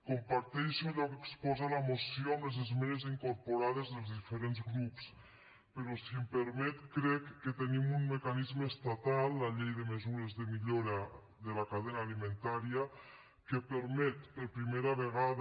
comparteixo allò que exposa la moció amb les esmenes incorporades dels diferents grups però si em permet crec que tenim un mecanisme estatal la llei de mesures per a la millora de la cadena alimentària que permet per primera vegada